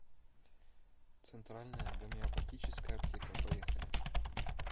центральная гомеопатическая аптека поехали